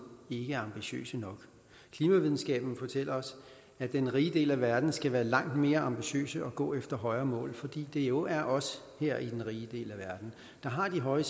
ikke er ambitiøse nok klimavidenskaben fortæller os at den rige del af verden skal være langt mere ambitiøs og gå efter højere mål fordi det jo er os her i den rige del af verden der har de høje